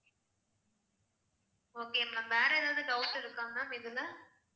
okay ma'am வேற ஏதாவது doubt இருக்கா ma'am இதுல